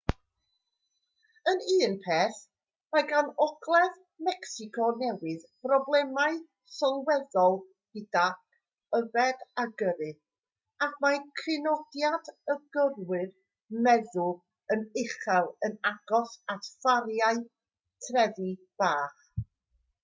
yn un peth mae gan ogledd mecsico newydd broblemau sylweddol gydag yfed a gyrru ac mae crynodiad y gyrwyr meddw yn uchel yn agos at fariau trefi bach